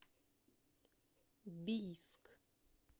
бийск